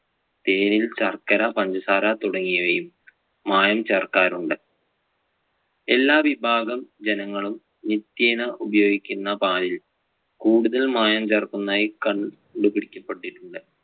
തേനിൽ ശർക്കര, പഞ്ചസാര തുടങ്ങിയവയും മായം ചേർക്കാറുണ്ട്. എല്ലാ വിഭാഗം ജനങ്ങളും നിത്യേന ഉപയോഗിക്കുന്ന പാലിൽ കൂടുതൽ മായം ചേർക്കുന്നതായി കണ്ടുപിടിക്കപ്പെട്ടിട്ടുണ്ട്.